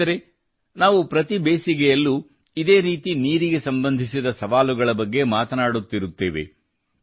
ಸ್ನೇಹಿತರೇ ನಾವು ಪ್ರತಿ ಬೇಸಿಗೆಯಲ್ಲೂ ಇದೇ ರೀತಿ ನೀರಿಗೆ ಸಂಬಂಧಿಸಿದ ಸವಾಲುಗಳ ಬಗ್ಗೆ ಮಾತನಾಡುತ್ತಿರುತ್ತೇವೆ